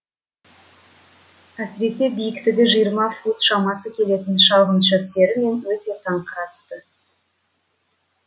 әсіресе биіктігі жиырма фут шамасы келетін шалғын шөптері мені өте таңырқатты